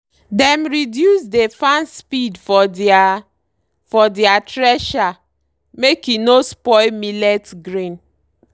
dem reduce dey fan speed for deir for deir thresher make e no spoil millet grain.